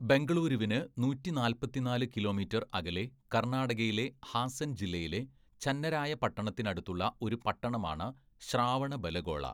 ബെംഗളുരുവിന് നൂറ്റി നാല്‍പത്തിന്നാല്‌ കിലോമീറ്റർ അകലെ കർണാടകയിലെ ഹാസൻ ജില്ലയിലെ ചന്നരായപട്ടണത്തിനടുത്തുള്ള ഒരു പട്ടണമാണ് ശ്രാവണബലഗോള.